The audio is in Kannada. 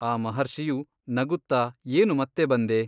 ಆ ಮಹರ್ಷಿಯು ನಗುತ್ತಾ ಏನು ಮತ್ತೆ ಬಂದೆ?